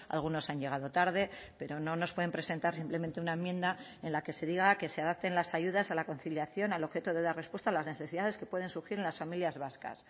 algunos han llegado tarde pero no nos pueden presentar simplemente una enmienda en la que se diga que se adapten las ayudas a la conciliación al objeto de dar respuesta a las necesidades que pueden surgir en las familias vascas